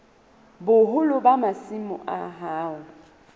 boholo ba masimo a hao